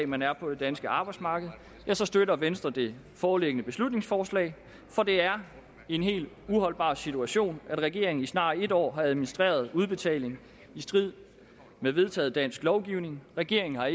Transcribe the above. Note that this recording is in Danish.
man er på det danske arbejdsmarked så støtter venstre det foreliggende beslutningsforslag for det er en helt uholdbar situation at regeringen i snart et år har administreret udbetaling i strid med vedtaget dansk lovgivning regeringen har